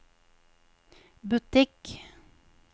butikk